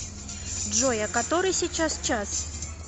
джой а который сейчас час